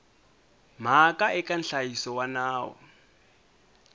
mhaka eka nhlayiso wa nawu